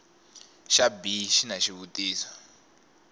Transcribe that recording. xa b xi na xivutiso